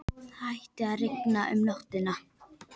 Það hætti að rigna um nóttina.